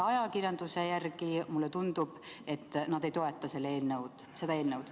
Ajakirjanduse põhjal otsustades mulle tundub, et nad ei toeta seda eelnõu.